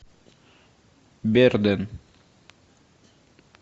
берден